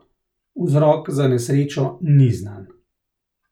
Vzrok za nesrečo ni znan.